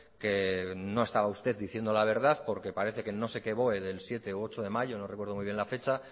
que no estaba usted diciendo la verdad porque parece que en no sé qué boe del siete u ocho de mayo no recuerdo muy bien la fecha